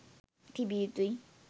තිබිය යුතුයි.